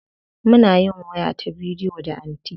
Muna yin waya ta bidiyo da anty.